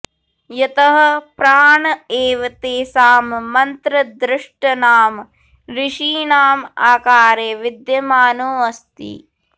यतः प्राण एव तेषां मन्त्रद्रष्टृृणाम् ऋषीणाम् आकारे विद्यमानोऽस्ति